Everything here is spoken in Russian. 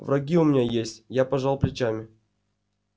враги у меня есть я пожал плечами